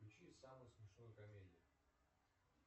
включи самую смешную комедию